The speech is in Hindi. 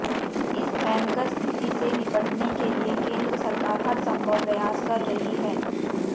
इस भयंकर स्थिति से निपटने के लिए केंद्र सरकार हर संभव प्रयास कर रही है